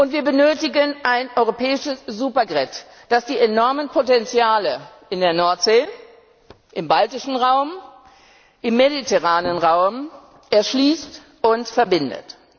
Wir benötigen ein europäisches Supergrid, das die enormen Potenziale in der Nordsee, im baltischen und im mediterranen Raum erschließt und verbindet.